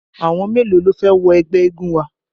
Àwọn mélòó ló fẹ́ wọ ẹgbẹ́ eégun wa?